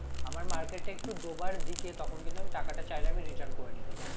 আমার market টা একটু ডোবার দিকে তখন কিন্তু আমি টাকাটা চাইলে আমি return করে নিতে পারি